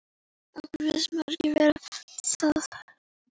Okkur finnst margt vera að.